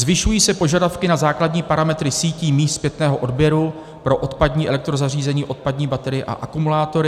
Zvyšují se požadavky na základní parametry sítí míst zpětného odběru pro odpadní elektrozařízení, odpadní baterie a akumulátory.